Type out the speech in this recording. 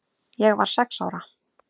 Ég var sex ára.